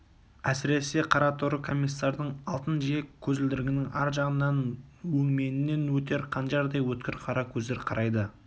әсіресе қараторы комиссардың алтын жиек көзілдірігінің ар жағынан өңменінен өтер қанжардай өткір қара көздер қарайды